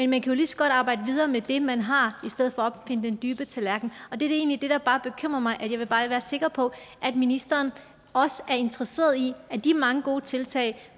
man kan jo lige så godt arbejde videre med det man har i stedet for at opfinde den dybe tallerken og det er egentlig der bekymrer mig jeg vil bare være sikker på at ministeren også er interesseret i at de mange gode tiltag